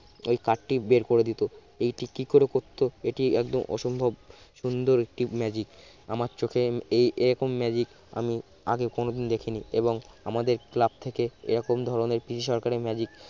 ওই card টি বের করে দিত এটি কি করে করতো এটি একদম অসম্ভব সুন্দর একটি magic আমার চোখে এই এরকম magic আমি আগে কোনদিন দেখি নি এবং আমাদের club থেকে এরকম ধরনের পিসি সরকারের magic